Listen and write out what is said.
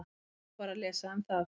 Þá var að lesa um það.